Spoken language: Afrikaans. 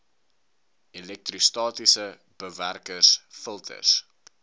elektrostatiese bewerkers filters